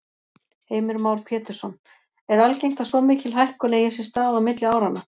Heimir Már Pétursson: Er algengt að svo mikil hækkun eigi sér stað á milli áranna?